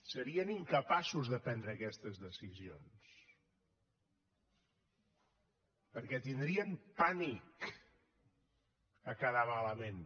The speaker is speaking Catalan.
serien incapaços de prendre aquestes decisions perquè tindrien pànic a quedar malament